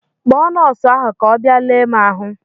Kpọọ nọọsụ ahụ ka ọ bịa lee m ahụ!